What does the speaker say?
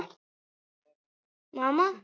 Á þriðja tug ungmenna slógust.